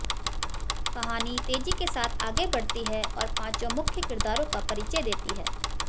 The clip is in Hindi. कहानी तेजी के साथ आगे बढ़ती है और पांचों मुख्य किरदारों का परिचय देती है